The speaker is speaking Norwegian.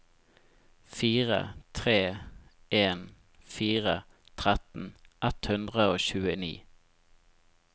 fire tre en fire tretten ett hundre og tjueni